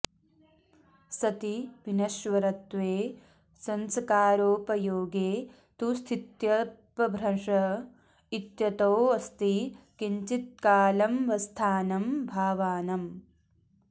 सति विनश्वरत्वे संस्कारोपयोगे तु स्थित्यपभ्रंश इत्यतोऽस्ति किञ्चित्कालमवस्थानं भावानाम्